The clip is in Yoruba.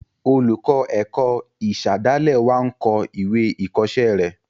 Olùkọ́ ẹ̀kọ́ ìsàdálẹ̀ wa n kọ ìwé ìkọ́sẹ́ rẹ̀